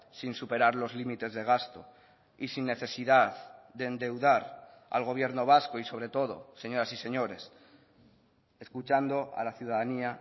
sin superar los límites de gasto y sin necesidad de endeudar al gobierno vasco y sobre todo señoras y señores escuchando a la ciudadanía